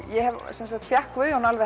ég fékk Guðjón